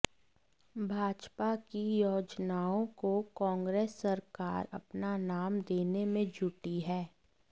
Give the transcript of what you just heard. भाजपा की योजनाआें को कांग्रेस सरकार अपना नाम देने में जुटी है